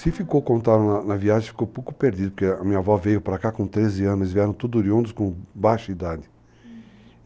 Se ficou contábil na viagem, ficou um pouco perdido, porque a minha avó veio pra cá com 13 anos, vieram tudo oriundos, com baixa idade. Uhum.